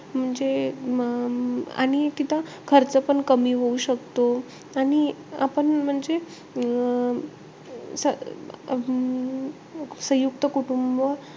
म्हणजे अं आणि तिथं खर्चपण कमी होऊ शकतो. आणि आपण म्हणजे अं अं सयुंक्त कुटुंब,